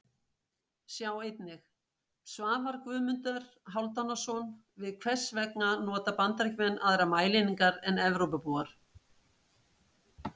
Sjá einnig: Svar Guðmundar Hálfdanarsonar við Hvers vegna nota Bandaríkjamenn aðrar mælieiningar en Evrópubúar?